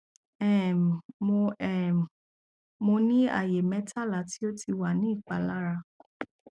um mo um mo ni aaye metala ti o ti wa ni ipalara